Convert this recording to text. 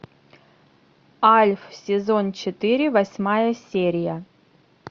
альф сезон четыре восьмая серия